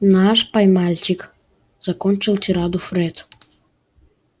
наш пай-мальчик закончил тираду фред